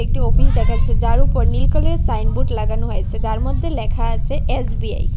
একটি অফিস দেখাচ্ছে যার উপর নীল কালারের সাইনবোর্ড লাগানো হয়েছে যার মধ্যে লেখা আছে এস_বি_আই ।